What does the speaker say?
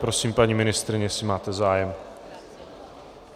Prosím, paní ministryně, jestli máte zájem.